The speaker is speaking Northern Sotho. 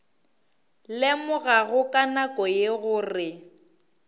lemogago ka nako ye gore